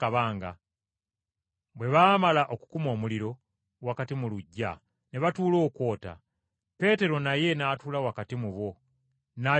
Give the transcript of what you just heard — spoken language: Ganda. Bwe baamala okukuma omuliro wakati mu luggya ne batuula okwota; Peetero naye n’atuula wakati mu bo, n’ayota omuliro.